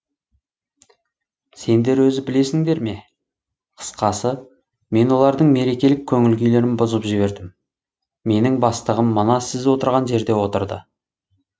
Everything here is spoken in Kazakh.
сендер өзі білесіңдер ме қысқасы мен олардың мерекелік көңіл күйлерін бұзып жібердім менің бастығым мына сіз отырған жерде отырды